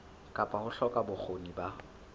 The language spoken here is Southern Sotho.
kapa ho hloka bokgoni ba